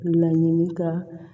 Laɲini ka